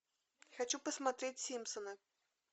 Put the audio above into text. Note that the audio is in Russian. хочу посмотреть симпсоны